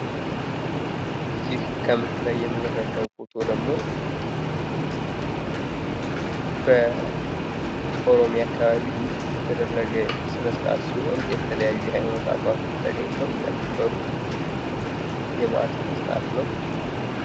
ይህ ከምስሉ ላይ የምንረዳው ፎቶ ደግሞ በኦሮሚያ አካባቢ የተደረገ ስነስርአት ሲሆን የተለያዩ የሀይማኖት አባቶች ተገኝተው ያከበሩት የበአል ስነስርአት ነው።